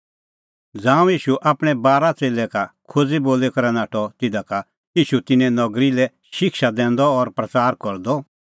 ज़ांऊं ईशू आपणैं बारा च़ेल्लै का खोज़ी बोली करै नाठअ तिधा का ईशू तिन्नें नगरी लै शिक्षा दैंदअ और प्रच़ारा करदअ